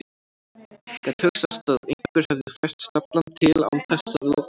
Gat hugsast að einhver hefði fært staflann til án þess að láta hann vita?